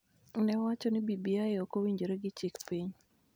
ne owacho ni BBI ok owinjore gi chik piny,